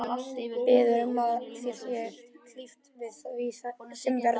Biður um að þér sé hlíft við því sem verður.